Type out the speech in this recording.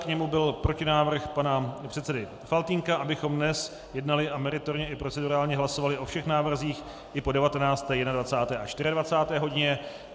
K němu byl protinávrh pana předsedy Faltýnka, abychom dnes jednali a meritorně i procedurálně hlasovali o všech návrzích i po 19., 21. a 24. hodině.